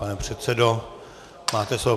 Pane předsedo, máte slovo.